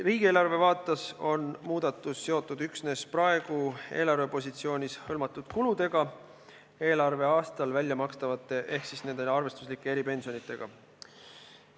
Riigieelarve vaates on muudatus seotud üksnes praegu eelarvepositsioonis hõlmatud kuludega eelarveaastal väljamakstavate ehk siis nende arvestuslike eripensionidega.